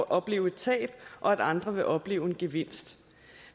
opleve et tab og at andre vil opleve en gevinst